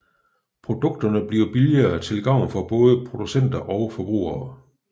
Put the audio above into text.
Produkterne bliver billigere til gavn for både producenter og forbrugere